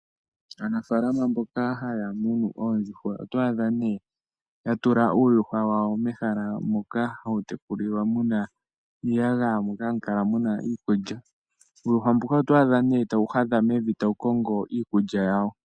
Aanafalama mboka haya munu oondjuhwa , otwaadha nee yatula uuyuhwa wawo mehala moka hawu tekulilwa muna iiyagaya mono hamukala muna iikulya, uuyuhwa mbuka otwaadha nee tawu hadha mevi tawu kongo iikulya yawo.